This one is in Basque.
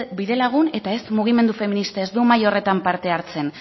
bidelagun eta ez mugimendu feminista ez du mahai horretan parte hartzen